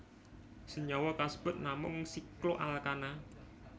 Senyawa kasebut namung sikloalkana